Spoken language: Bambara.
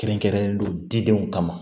Kɛrɛnkɛrɛnnen do didenw kama